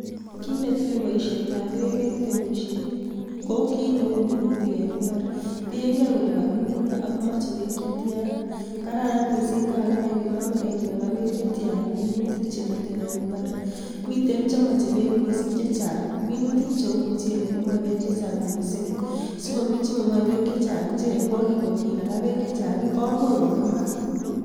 Kiit netile boishetab beek en temishet ko kiit neuu minutik en imbar, tieng'e kolee kakimin nee ak moche beek chetian, kararan mising yon kakinai kelee yomekee kinaka beek chetian minutik chemiten en imbar, miten chemoje Beek mising chechang, minutik cheuu muchelek komoche beek chechang mising sikomi chemomoe beek chechang che ngwokinaka Beek chechang komuch kong'emak.